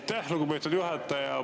Aitäh, lugupeetud juhataja!